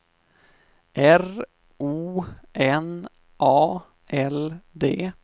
R O N A L D